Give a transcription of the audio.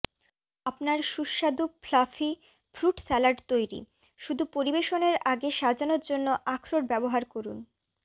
আপনার সুস্বাদু fluffy fruit salad তৈরি শুধু পরিবেশনের আগে সাজানোর জন্য আখরোট ব্যবহার করুন